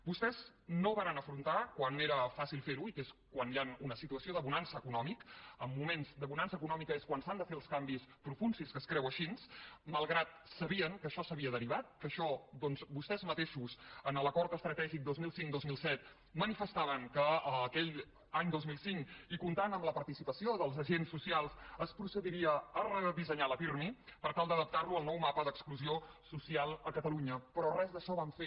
vostès no varen afrontar quan era fàcil fer ho i que és quan hi ha una situació de bonança econòmica en moments de bonança econòmica és quan s’han de fer els canvis profunds si és que es creu així malgrat que sabien que això s’havia derivat que això vostès mateixos en l’acord estratègic dos mil cinc dos mil set manifestaven que aquell any dos mil cinc i comptant amb la participació dels agents socials es procediria a redissenyar la pirmi per tal d’adaptar la al nou mapa d’exclusió social a catalunya però res d’això van fer